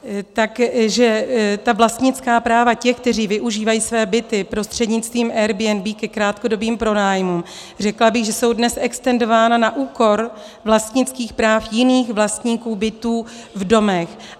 Takže ta vlastnická práva těch, kteří využívají své byty prostřednictvím Airbnb ke krátkodobým pronájmům, řekla bych, že jsou dnes extendována na úkor vlastnických práv jiných vlastníků bytů v domech.